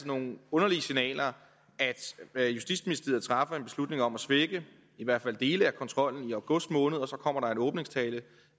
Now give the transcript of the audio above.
nogle underlige signaler at justitsministeriet træffer en beslutning om at svække i hvert fald dele af kontrollen i august måned og så kommer der en åbningstale